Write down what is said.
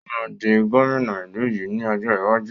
Ó máa di gómìnà ìlú yìí ni ọjọ́ iwájú.